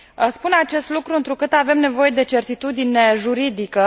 Spun acest lucru întrucât avem nevoie de certitudine juridică.